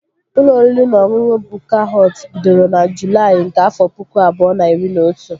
Ụlọ oriri na ọṅụṅụ Bukka Họt bidoro na Julaị nke afọ pụkụ abụọ na iri na otu